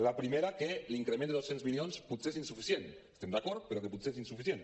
la primera que l’increment de dos cents milions potser és insuficient hi estem d’acord però que potser és insuficient